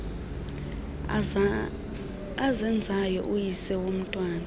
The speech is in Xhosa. azenzayo uyise womntwana